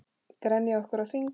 Grenjað okkur á þing?